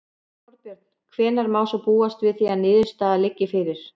Þorbjörn: Hvenær má svo búast við því að niðurstaða liggi fyrir?